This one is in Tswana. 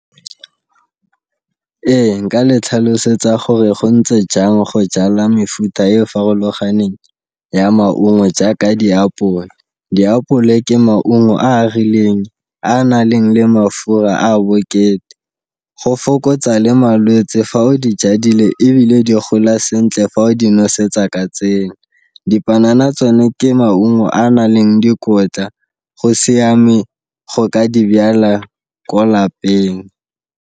Ee, nka le ntlhalosetsa gore go ntse jang go jala mefuta e farologaneng ya maungo jaaka diapole. Diapole ke maungo a a rileng a naleng le mafura a bokete, go fokotsa le malwetsi fa o di jadile, ebile di gola sentle fa o di nosetsa ka dipanana tsone ke maungo a naleng dikotla, go siame go ka di bjala ko lapeng.